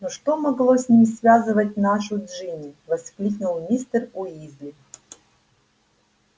но что могло с ним связывать нашу джинни воскликнул мистер уизли